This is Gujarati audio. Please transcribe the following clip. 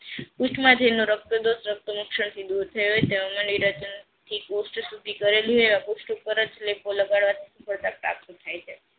પુસ્થ રક્તદોષ રકતા મુક્ષણ થી દૂર થયો હોય તેઓ ને નીરાજન થી પુસ્થ સુધી પુસ્થ ઉપર જ લેપો લગાડવાથી સ્પળધા પ્રાપ્ત થાય છે